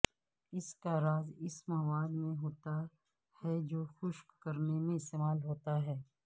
اس کا راز اس مواد میں ہوتا ہے جو خشک کرنے میں استعمال ہوتا ہے